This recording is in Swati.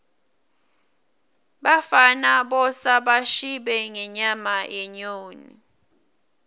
bafana bosa bashibe ngenyama yenyoni